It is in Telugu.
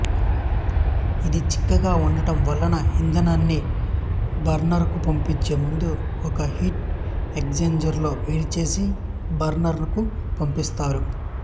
ఇది చిక్కగా ఉండటం వలన ఇంధనాన్ని బర్నరుకు పంపించే ముందు ఒక హీట్ ఎక్సుజెంజరులో వేడిచేసి బర్నరుకు పంపిస్తారు